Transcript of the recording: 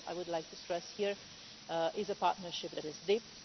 I would like to stress here that it is a partnership that is deep.